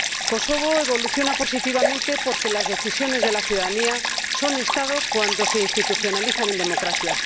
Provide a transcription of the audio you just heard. Kosovo evoluciona positivamente porque las decisiones de la ciudadanía son Estado cuando se institucionalizan en democracia.